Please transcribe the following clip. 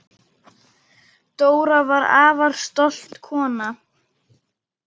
Dóra var afar stolt kona.